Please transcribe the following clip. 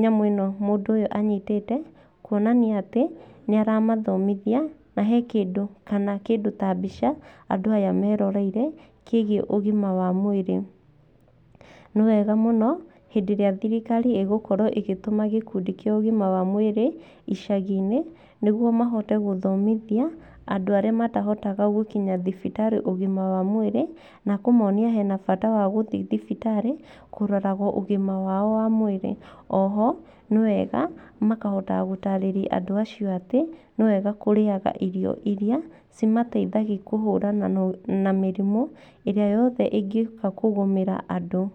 nyamũ ĩno mũndũ ũyũ anyitĩte. Kuoanania atĩ nĩ aramathomithia, na he kĩndũ kana kĩndũ ta mbica andũ aya meroreire kĩgiĩ ũgima wa mwĩrĩ. Nĩ wega mũno hĩndĩ ĩrĩa thirikari ĩgũkorwo ĩgĩtũma gĩkundi kĩa ũgima wa mwĩrĩ icagi-inĩ, nĩguo mahote gũthomithia andũ arĩa matahotaga gũkinya thibitarĩ ũgima wa mwĩrĩ. Na kũmonia hena bata wa gũthiĩ thibitarĩ kũroragwo ũgima wao wa mwĩrĩ. O ho nĩ wega makahotaga gũtaarĩrĩa andũ acio atĩ, nĩ wega kũrĩaga irio irĩa cimateithagia kũhũrana na mĩrimũ ĩrĩa yothe ĩngĩũka kũgũmĩra andũ.